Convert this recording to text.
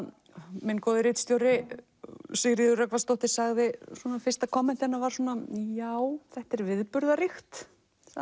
minn góði ritstjóri Sigríður Rögnvaldsdóttir sagði fyrsta komment hennar var já þetta er viðburðaríkt